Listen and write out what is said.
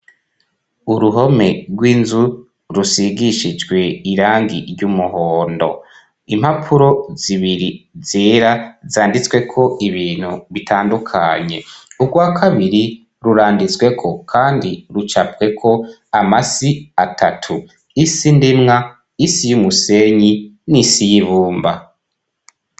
Uruhome gw'inzu rusigishijwe irangi ry'umuhondo impapuro zibiri zera zanditsweko ibintu bitandukanye ugwa kabiri ruranditsweko kandi rucapweko amasi atatu isi ndemwa isi y'umusenyi n'isi y'ibumba.